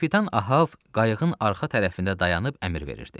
Kapitan Av qayığın arxa tərəfində dayanıb əmr verirdi.